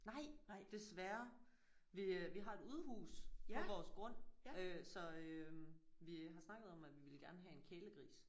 Nej desværre. Vi øh vi har et udehus på vores grund øh så øh vi har snakket om at vi ville gerne have en kælegris